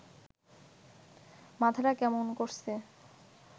মাথাটা কেমন করছে